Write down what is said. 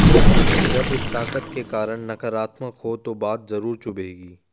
लेकिन जब इस ताकत के कारण नकारात्मक हो तो बात जरूर चुभेगी